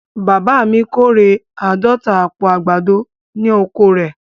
Bàbá mi kọ́rẹ̀ àádọ̀ta àpò àgbádọ̀ ní oko rẹ̀.